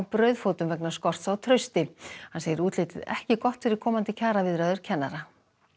brauðfótum vegna skorts á trausti hann segir útlitið ekki gott fyrir komandi kjaraviðræður kennara